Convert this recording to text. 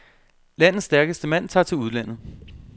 Landets stærkeste mand tager til udlandet.